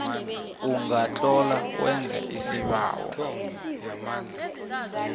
ungatlola wenze isibawo